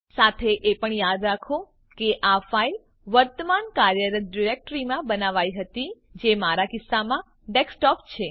સાથે એ પણ યાદ રાખો કે આ ફાઈલ વર્તમાન કાર્યરત ડિરેક્ટરીમાં બનાવાઈ હતી જે મારા કિસ્સામાં ડેસ્કટોપ છે